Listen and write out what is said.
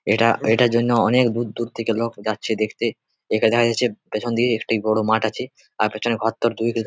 এটা এটার জন্য অনেক দূর দূর থেকে লোক যাচ্ছে দেখতে পেছন দিকে একটি বড় মাঠ আছে আর পেছনে ঘরদোর দুই বিঘ--